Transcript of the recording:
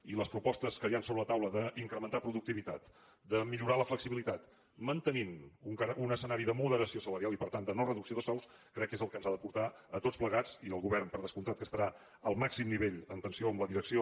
i les propostes que hi han a sobre la taula d’incrementar productivitat de millorar la flexibilitat mantenint un escenari de moderació salarial i per tant de no reducció de sous crec que és el que ens ha de portar a tots plegats i al govern per descomptat que estarà al màxim nivell en tensió amb la direcció